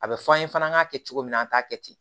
A bɛ fɔ an ye fana an k'a kɛ cogo min na an t'a kɛ ten